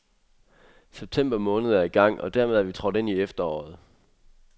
September måned er i gang, og dermed er vi trådt ind i efteråret.